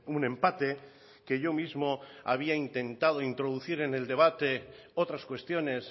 un empate que yo mismo había intentado introducir en el debate otras cuestiones